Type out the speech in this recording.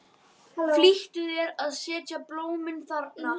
Flýttu þér að setja blómin þarna.